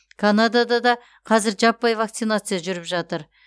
канадада да қазір жаппай вакцинация жүріп жатыр